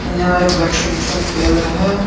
यहाँ एक वेक्सिनेशन केंद्र है।